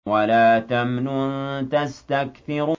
وَلَا تَمْنُن تَسْتَكْثِرُ